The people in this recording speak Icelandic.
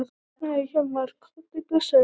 Nei Hjálmar, komdu blessaður!